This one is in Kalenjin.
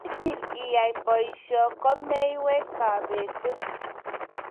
Yeitil iyai posyoi ko meiywei kabetet.